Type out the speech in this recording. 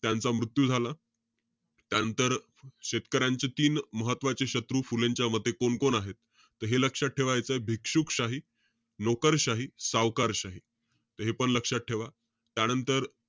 त्यांचा मृत्यू झाला. त्यानंतर, शेतकऱ्यांचे तीन महत्वाचे शत्रू फुलेंच्या मते कोणकोण आहे? त हे लक्षात ठेवायचंय. भिक्षुकशाही, नोकरशाही, सावकारशाही हे पण लक्षात ठेवा. त्यानंतर,